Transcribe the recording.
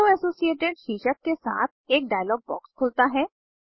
अरो associated शीर्षक के साथ एक डायलॉग बॉक्स खुलता है